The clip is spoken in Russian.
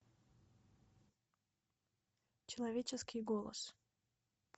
человеческий голос